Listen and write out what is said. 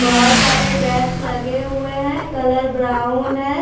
बहुत सारे डेक्स लगे हुए हैं कलर ब्राउन है।